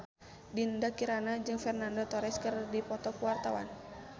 Dinda Kirana jeung Fernando Torres keur dipoto ku wartawan